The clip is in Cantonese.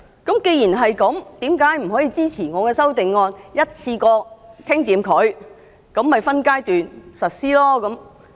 既然如此，為甚麼不可以支持我的修正案，一次過立法，分階段實施？